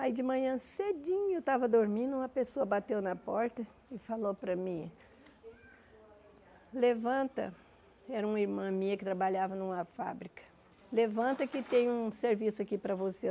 Aí de manhã, cedinho, eu estava dormindo, uma pessoa bateu na porta e falou para mim, levanta, era uma irmã minha que trabalhava numa fábrica, levanta que tem um serviço aqui para você.